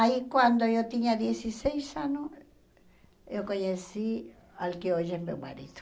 Aí, quando eu tinha dezesseis anos, eu conheci o que hoje é meu marido.